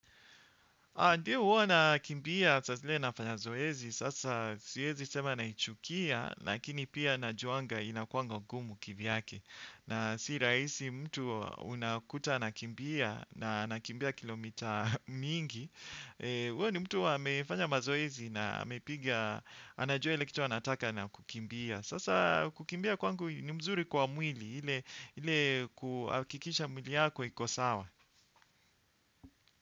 Ndiyo uwa nakimbia, saa zingine nafanya zoezi, sasa siezi sema naichukia, lakini pia najuanga inakuanga gumu kivyake. Na si rahisi mtu unakuta anakimbia na anakimbia kilomita mingi. Huyo ni mtu amefanya mazoezi na amepiga, anajua ile kitu anataka na kukimbia. Sasa kukimbia kwangu ni mzuri kwa mwili, ile kuhakikisha mwili yako iko sawa.